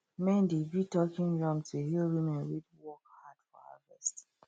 men dey beat talking drum to hail women wey work hard for harvest